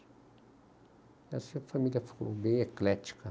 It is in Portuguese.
E assim a família ficou bem eclética.